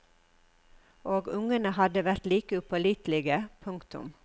Og ungene hadde vært like upålitelige. punktum